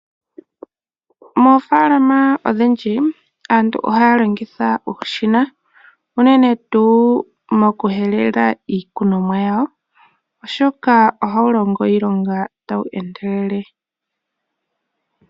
Moofaalama odhindji aantu ohaya longitha uushina. Unene tuu mokuhelela iikunomwa yawo oshoka ohawu longo iilonga tawu endelele.